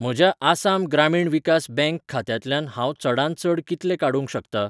म्हज्या आसाम ग्रामीण विकास बँक खात्यांतल्यान हांव चडांत चड कितले काडूंक शकतां?